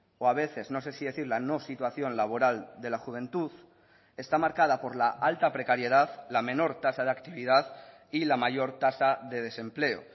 o a veces no sé si decir la no situación laboral de la juventud está marcada por la alta precariedad la menor tasa de actividad y la mayor tasa de desempleo